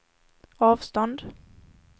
avstånd